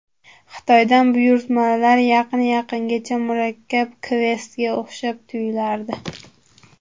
Xitoydan buyurtmalar yqin yaqingacha murakkab kvestga o‘xshab tuyulardi.